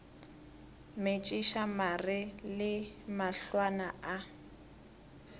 metšiša mare le mahlwana a